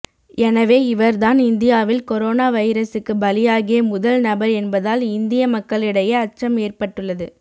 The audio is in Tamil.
எனவே இவர்தான் இந்தியாவில் கொரோனா வைரசுக்கு பலியாகிய முதல் நபர் என்பதால் இந்திய மக்களிடையே அச்சம் ஏற்பட்டுள்ளது